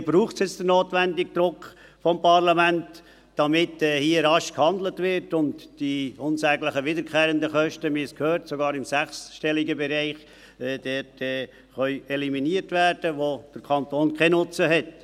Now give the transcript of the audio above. Hier braucht es nun den notwendigen Druck des Parlaments, damit hier rasch gehandelt wird und die unsäglichen wiederkehrenden Kosten – wir haben es gehört, sogar im sechsstelligen Bereich – eliminiert werden können, wo der Kanton keinen Nutzen hat.